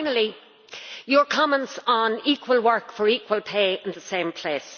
Finally, your comments on equal work for equal pay in the same place.